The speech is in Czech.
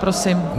Prosím.